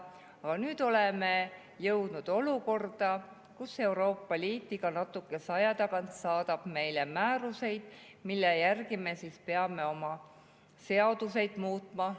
Aga nüüd oleme jõudnud olukorda, kus Euroopa Liit iga natukese aja tagant saadab meile määruseid, mille järgi me peame oma seaduseid muutma.